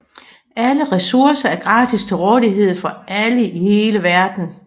Alle ressourcer er gratis til rådighed for alle i hele verden